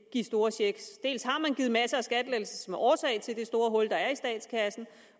store checks dels har man givet masser af skattelettelser som er årsag til det store hul der er i statskassen